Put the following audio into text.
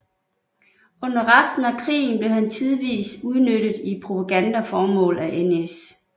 Under resten af krigen blev han tidvis udnyttet i propagandaformål af NS